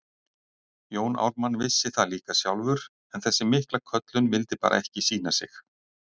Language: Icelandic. Jón Ármann vissi það líka sjálfur, en þessi mikla köllun vildi bara ekki sýna sig.